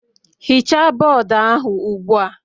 Hichaa bọọdụ ahụ ugbu a.